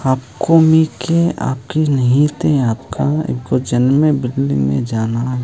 आखो मे के आखे नही ते आका एको जन्मे बिल्डिंगमें जाना --